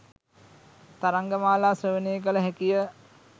තරංග මාලා ශ්‍රවණය කළ හැකිය